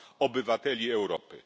obywateli Europy.